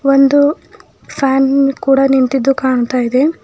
ಒಂದು ಫ್ಯಾನ್ ಕೂಡ ನಿಂತಿದ್ದು ಕಾಣ್ತ ಇದೆ.